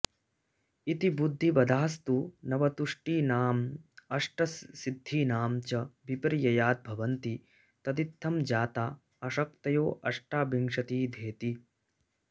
इति बुद्धिवधास्तु नवतुष्टीनामष्टसिद्धीनां च विपर्ययाद्भवन्ति तदित्थं जाता अशक्तयोऽष्टाविंशतिधेति